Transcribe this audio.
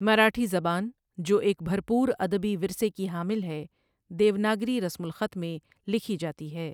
مراٹھی زبان، جو ایک بھرپور ادبی ورثے کی حامل ہے، دیوناگری رسم الخط میں لکھی جاتی ہے۔